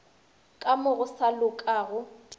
ka mo go sa lokago